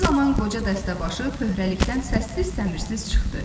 Bu zaman qoca dəstəbaşı pöhərədən səssiz-səmirsiz çıxdı.